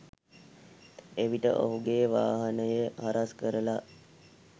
එවිට ඔහුගේ වාහනය හරස්‌ කරලා